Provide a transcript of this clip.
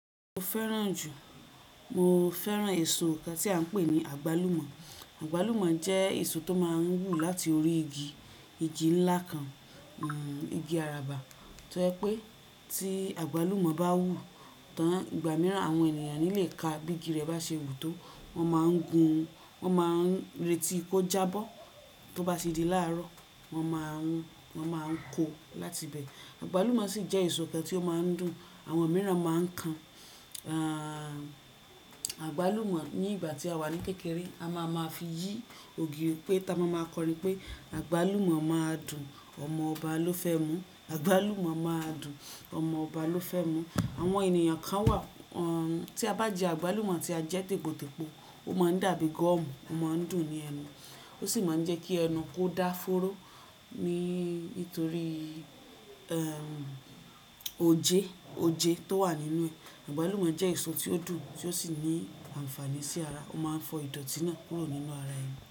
Mo fẹ́ràn jù, mo fẹ́ràn èso kan tí à ń pè ní àgbálùmọ́. Àgbálùmọ́ jẹ́ èso tó máa ń wù láti orí igi, igi ńlá kan, igi àràbà. Tọ́ jepé tí àgbálùmọ́ bá wù, tán ìgbà mìíràn àwọn ènìyàn ní lè ka bí igi rẹ̀ bá ṣe wù tó. Wọ́n máa ń gun, wọ́n máa ń retí kó jábọ́, tó bá ṣe di láàárọ̀ wọ́n máa ń, wọ́n máa ń ko láti bẹ. Àgbálùmọ́ sì jẹ́ èso kan tí ó máa ń dùn, àwọn mìíràn máa ń kan, àgbálùmọ́ ní ìgbà tí a wà ní kékeré, a máa máa fi yí ògiri pé, táa máa máa kọrin pé "àgbálùmọ́ máa dùn, ọmọ ọba ló fẹ́ mú, àgbálùmọ́ máa dùn, ọmọ ọba ló fẹ́ mú". Àwọn ènìyàn kan wà tí a bá jẹ àgbálùmọ́ tí a jẹ́ tètè po, ó máa ń dàbí gọ́ọ̀mù, ó máa ń dùn ni ẹnu, ó sì máa ń jẹ́ kí ẹnu kó dá fóró ní nítorí oje, oje tó wà nínú ẹ̀. Àgbálùmọ́ jẹ́ èso tí ó dùn tí ó sì ní àǹfààní sí ara, ó máa ń fọ ìdọ̀ọ̀tí náà kúrò nínú ara ẹni.